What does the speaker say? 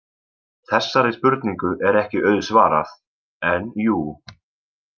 Þessari spurningu er ekki auðsvarað- en jú.